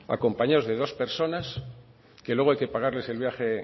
acompañados de dos personas que luego hay que pagarles el viaje